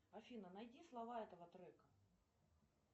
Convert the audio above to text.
афина найди слова этого трека